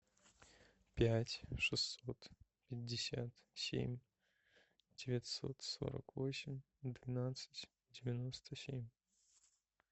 пять шестьсот пятьдесят семь девятьсот сорок восемь двенадцать девяносто семь